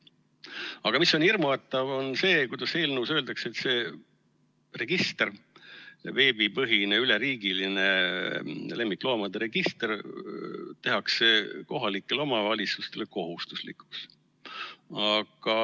Aga hirmutav on see, kuidas eelnõus öeldakse, et see register, see veebipõhine, üleriigiline lemmikloomade register tehakse kohalikele omavalitsustele kohustuslikuks.